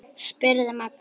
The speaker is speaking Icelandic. spurði Magnús.